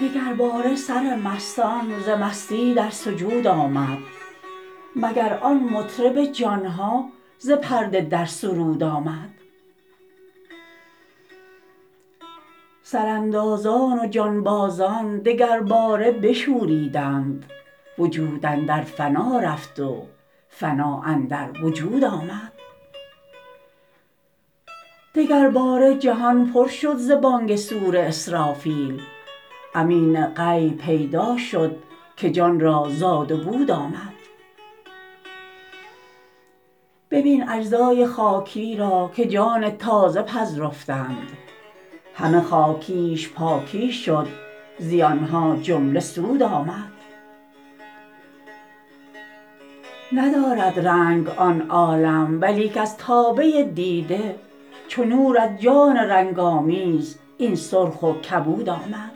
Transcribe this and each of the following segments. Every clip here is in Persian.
دگرباره سر مستان ز مستی در سجود آمد مگر آن مطرب جان ها ز پرده در سرود آمد سراندازان و جانبازان دگرباره بشوریدند وجود اندر فنا رفت و فنا اندر وجود آمد دگرباره جهان پر شد ز بانگ صور اسرافیل امین غیب پیدا شد که جان را زاد و بود آمد ببین اجزای خاکی را که جان تازه پذرفتند همه خاکیش پاکی شد زیان ها جمله سود آمد ندارد رنگ آن عالم ولیک از تابه دیده چو نور از جان رنگ آمیز این سرخ و کبود آمد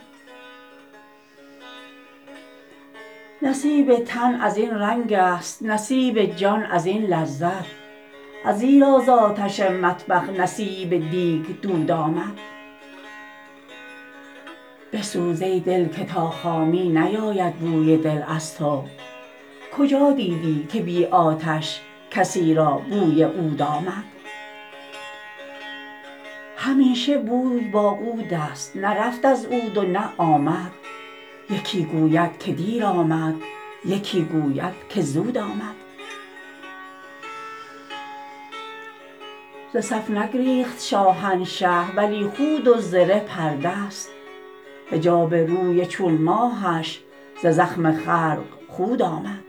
نصیب تن از این رنگست نصیب جان از این لذت ازیرا ز آتش مطبخ نصیب دیگ دود آمد بسوز ای دل که تا خامی نیاید بوی دل از تو کجا دیدی که بی آتش کسی را بوی عود آمد همیشه بوی با عودست نه رفت از عود و نه آمد یکی گوید که دیر آمد یکی گوید که زود آمد ز صف نگریخت شاهنشه ولی خود و زره پرده ست حجاب روی چون ماهش ز زخم خلق خود آمد